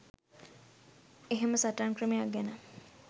එහෙම සටන් ක්‍රමයක් ගැන